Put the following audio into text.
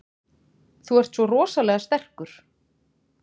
Þú ert svo rosalega sterkur.